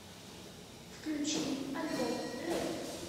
включи альбом рэйв